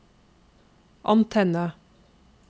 antenne